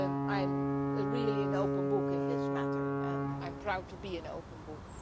I am really an open book on this matter and I am proud to be an open book.